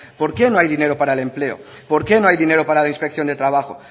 por qué no hay dinero para el empleo por qué no hay dinero para la inspección de trabajo